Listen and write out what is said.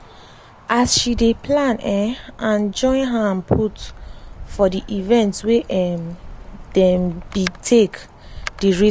as she dey plan um and join hand put for di event wey um dem be take dey raise money